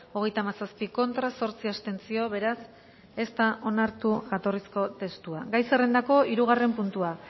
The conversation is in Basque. hogeita hamazazpi contra zortzi abstentzio beraz ez da onartu jatorrizko testua gai zerrendako hirugarren puntua